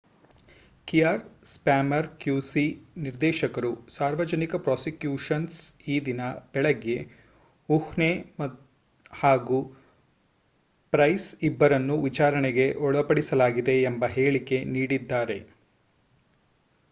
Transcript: ಕಿಯರ್ Starmer qc ನಿರ್ದೇಶಕರು ಸಾರ್ವಜನಿಕ prosecutions ಈದಿನ ಬೆಳಿಗ್ಗೆ ಹುಹ್ನೆ ಹಾಗೂ ಪ್ರೈಸ್ ಇಬ್ಬರನ್ನೂ ವಿಚಾರಣೆಗೆ ಒಳಪಡಿಸಲಾಗಿದೆ ಎಂಬ ಹೇಳಿಕೆ ನೀಡಿದ್ದಾರೆ